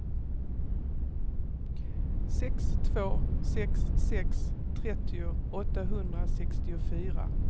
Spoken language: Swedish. sex två sex sex trettio åttahundrasextiofyra